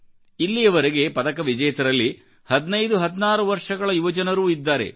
ಇಲ್ಲಿಯವರೆಗಿನ ಪದಕ ವಿಜೇತರಲ್ಲಿ 15 16 ವರ್ಷಗಳ ಯುವಜನರೂ ಇದ್ದಾರೆ